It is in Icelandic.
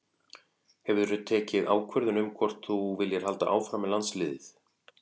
Hefur þú tekið ákvörðun um hvort að þú viljir halda áfram með landsliðið?